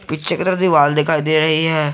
पीछे की तरफ से वॉल दिखाई दे रही है।